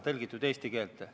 Austatud juhataja!